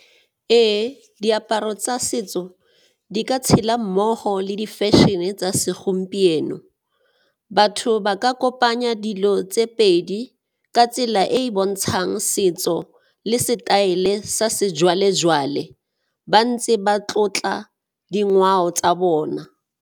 Ee, diaparo tsa setso di ka tshela mmogo le di fashion-e tsa segompieno, batho ba ka kopanya dilo tse pedi ka tsela e e bontshang setso le setaele sa sejwalejwale ba ntse ba tlotla dingwao tsa bona.